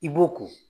I b'o ko